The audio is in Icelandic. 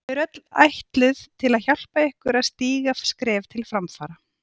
Þau eru öll ætluð til að hjálpa ykkur að stíga skref til framfara.